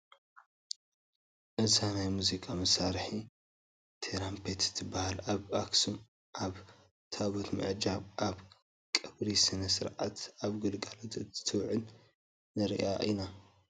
እዛ ናይ ሙዚቃ መሳርሒ ትራምፔት ትበሃል፡፡ ኣብ ኣኽሱም ኣብ ታቦት ምዕጃብን ኣብ ቀብሪ ስነ ስርዓትን ኣብ ግልጋሎት እንትትውዕል ንሪኣ ኢና፡፡